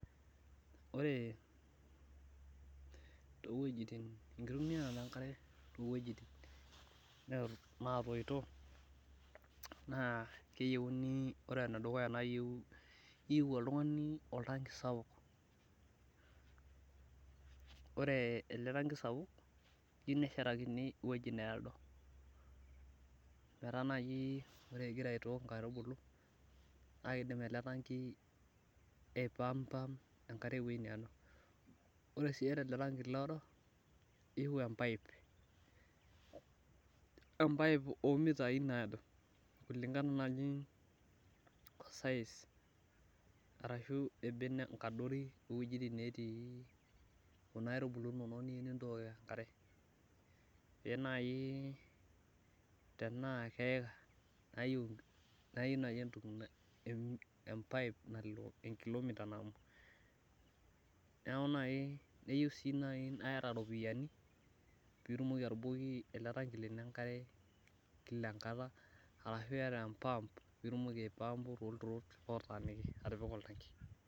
Ore enkitumiya enkare toowejitin natoito, ore ene dukuya naa iyieu oltungani oltanki sapuk. Ore ele tanki sapuk, eyeiu neshatiki eweji needo, metaa ore naaji ingira aitook nkaitubulu, naa kidim ele tanki aipaampa enkare eweji needo. Ore sii ele taki etii eweji needo, iyieu empaip omitai naado ,kulinkana naaji wenkadori oowejitin natii kuna aitubulu nonok niyieu nintok enkare. Neeku iyieu naaji empaip nalo enkilomita nabo, neeku naaji keyieu sii naa iyata ropiyiani pee itumoki atubukoki ele tanki lino enkare Kila enkata ashu iyata empaap pee itumoki aipaampu toolaturok atipika oltanki.